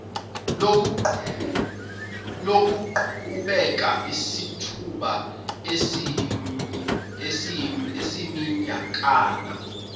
luzoqhubeka isithuba esiyiminyakana